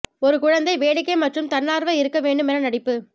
ஒரு குழந்தை வேடிக்கை மற்றும் தன்னார்வ இருக்க வேண்டும் என நடிப்பு